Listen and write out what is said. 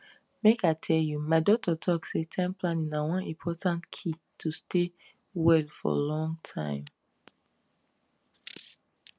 make i tell you my doctor talk say time planning na one important key to stay well for long time